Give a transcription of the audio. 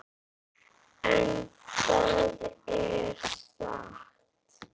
En er það satt?